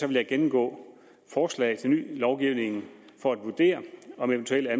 vil jeg gennemgå forslag til ny lovgivning for at vurdere om eventuelle